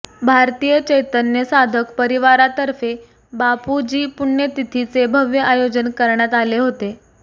भारतीय चैतन्य साधक परिवारातर्फे बापूजी पुण्यतिथी चे भव्य आयोजन करण्यात आले होते